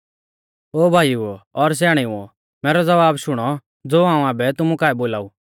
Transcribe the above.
ओ भाईओ और स्याणेउओ मैरौ ज़वाब शुणौ ज़ो हाऊं आबै तुमु काऐ बोलाऊ